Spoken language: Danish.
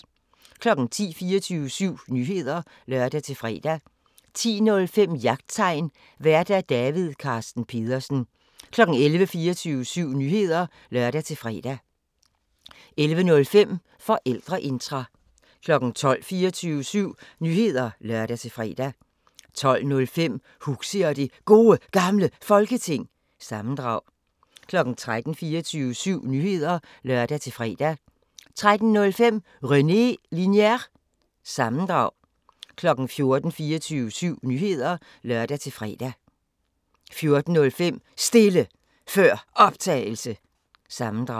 10:00: 24syv Nyheder (lør-fre) 10:05: Jagttegn Vært: David Carsten Pedersen 11:00: 24syv Nyheder (lør-fre) 11:05: Forældreintra 12:00: 24syv Nyheder (lør-fre) 12:05: Huxi og det Gode Gamle Folketing – sammendrag 13:00: 24syv Nyheder (lør-fre) 13:05: René Linjer- sammendrag 14:00: 24syv Nyheder (lør-fre) 14:05: Stille Før Optagelse – sammendrag